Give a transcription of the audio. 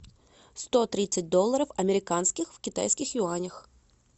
сто тридцать долларов американских в китайских юанях